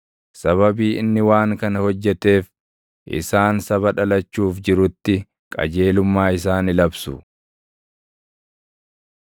Sababii inni waan kana hojjeteef, isaan saba dhalachuuf jirutti qajeelummaa isaa ni labsu.